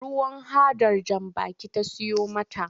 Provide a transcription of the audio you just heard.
Ruwan hadar jan baki ta siyo mata.